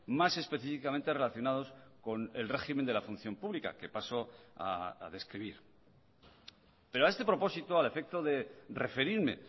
más específicamente relacionados con el régimen de la función pública que paso a describir pero a este propósito al efecto de referirme